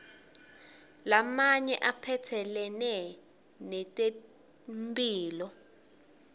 lamanye aphatselene netempihlo